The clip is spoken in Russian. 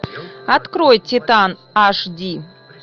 открой титан аш ди